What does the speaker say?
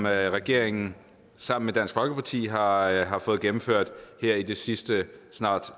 regeringen sammen med dansk folkeparti har har fået gennemført her i de sidste snart